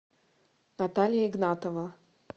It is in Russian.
наталья игнатова